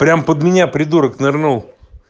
прям под меня придурок нырнул